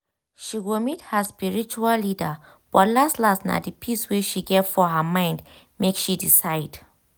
she go meet her spiritual leader but las-las na di peace wey she get for her mind make she decide.